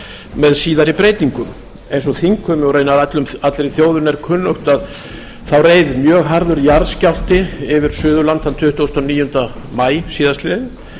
með síðari breytingum eins og þingheimi og raunar allri þjóðinni er kunnugt reið mjög harður jarðskjálfti yfir suðurland þann tuttugasta og níunda maí síðastliðinn